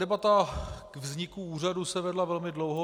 Debata k vzniku úřadu se vedla velmi dlouho.